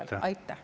Aitäh!